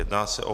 Jedná se o